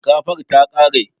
Shinkafar ta ƙare